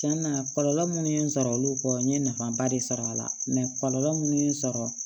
Cɛn na kɔlɔlɔ minnu ye n sɔrɔ olu kɔ n ye nafaba de sɔrɔ a la kɔlɔlɔ minnu ye n sɔrɔ